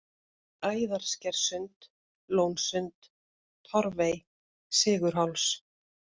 Æðarskerssund, Lónsund, Torfey, Sigurháls